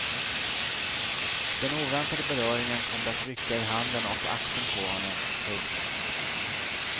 Den oväntade beröringen kom det att rycka i handen och axeln på honom. punkt